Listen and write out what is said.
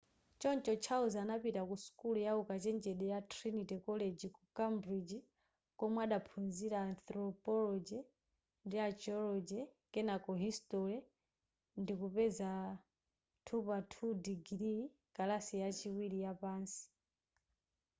choncho charles anapita ku sukulu ya ukachenjede ya trinity college ku cambridge komwe adakaphunzira anthropology ndi archaeology kenako history ndikupeza 2:2 digiri kalasi yachiwiri yapansi